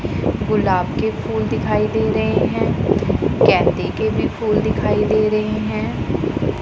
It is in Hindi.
गुलाब के फूल दिखाई दे रहे हैं गेंदे के भी फूल दिखाई दे रहे हैं।